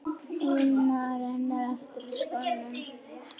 una renna aftur úr skónum.